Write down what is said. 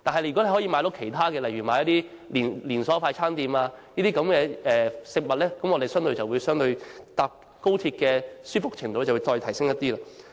如果市民可以購買其他連鎖快餐店的食物，相對而言，我們乘搭高鐵的舒適程度便可再提升一點。